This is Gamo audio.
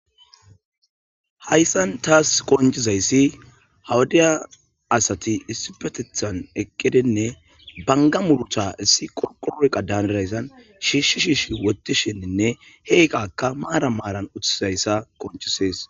hayssan taas qoncizayssi hawudiya asati issipetethan eqqedenne banga murucha issi qonqoloqa daanarayssan shiishi shiishi wotishinninne heeqaka maara maaran uththizayssa qonchisees